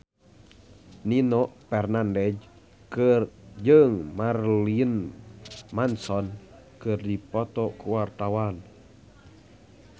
Nino Fernandez jeung Marilyn Manson keur dipoto ku wartawan